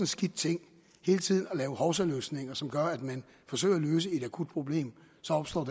skidt ting hele tiden at lave hovsaløsninger som gør at man forsøger at løse et akut problem så opstår